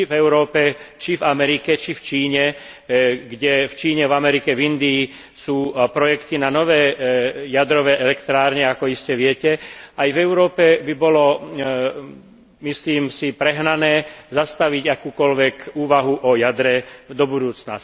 Či v Európe, či v Amerike, či v Číne, kde v Číne, v Amerike, v Indii sú projekty na nové jadrové elektrárne, ako iste viete, aj v Európe by bolo, myslím si, prehnané zastaviť akúkoľvek úvahu o jadre do budúcna.